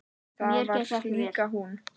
Það var líka hún.